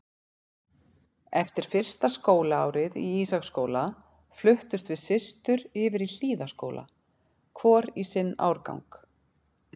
Eftir fyrsta skólaárið í Ísaksskóla fluttumst við systur yfir í Hlíðaskóla, hvor í sinn árgang.